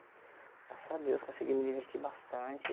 Graças a Deus, consegui me diverti bastante.